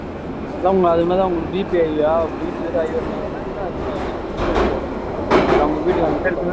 அதான் அவங்களுக்கு அது மாதிரிதான் அவங்களுக்கு BPhigh யா BP வேற high வந்த உடனே இன்னும் அதிகமாயி சில்லுன்னு அகிடிச்சு உடம்புல அப்புறம் அவங்க வீட்டுக்கு அனுப்பிட்டாங்க